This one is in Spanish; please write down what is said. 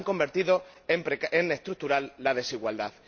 Han convertido en estructural la desigualdad.